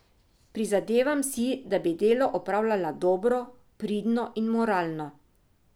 Prizadevam si, da bi delo opravljala dobro, pridno in moralno.